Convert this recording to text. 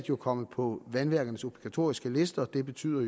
jo kommet på vandværkernes obligatoriske liste og det betyder at